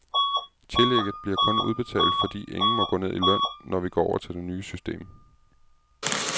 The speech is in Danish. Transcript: Tillægget bliver kun udbetalt, fordi ingen må gå ned i løn, når vi går over til det nye system.